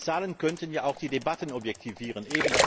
Denn die Zahlen könnten ja auch die Debatten objektivieren.